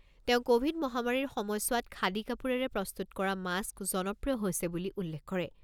তেওঁ ক'ভিড মহামাৰীৰ সময়ছোৱাত খাদী কাপোৰেৰে প্ৰস্তুত কৰা মাস্ক জনপ্ৰিয় হৈছে বুলি উল্লেখ কৰে।